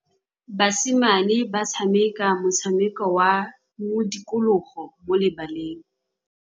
Basimane ba tshameka motshameko wa modikologô mo lebaleng.